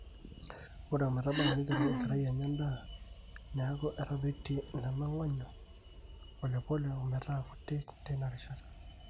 ore ometaba neiterru enkerai anya endaa neeku etadoitie nena ng'onyo polepole ometaa kuti teina rishata